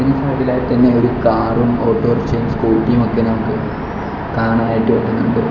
ഇതിനു മുൻപിലായി തന്നെ ഒരു കാറും ഓട്ടോറിക്ഷയും സ്കൂട്ടിയും ഒക്കെ നമുക്ക് കാണാനായിട്ട് പറ്റുന്നുണ്ട്.